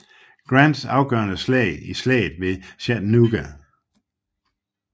Grants afgørende sejr i Slaget ved Chattanooga